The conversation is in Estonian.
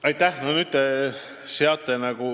Aitäh!